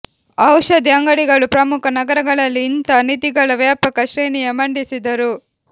ಔಷಧಿ ಅಂಗಡಿಗಳು ಪ್ರಮುಖ ನಗರಗಳಲ್ಲಿ ಇಂಥ ನಿಧಿಗಳ ವ್ಯಾಪಕ ಶ್ರೇಣಿಯ ಮಂಡಿಸಿದರು